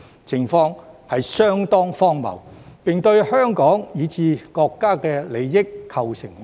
這情況相當荒謬，並對香港以至國家的利益構成威脅。